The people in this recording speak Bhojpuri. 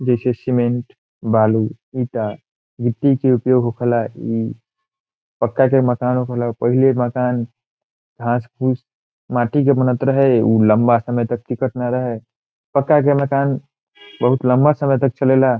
जीसे सीमेंट बालू ईटा गिटी के उपयोग होख ला ई पक्का के मकान होखेला पाहिले मकान घास पूस माटी के बनत रहे उ लम्बा समय तक न टिकत रहे पक्का के मकान लम्बा समय तक चले ला।